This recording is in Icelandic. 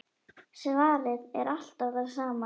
Svarið er alltaf það sama.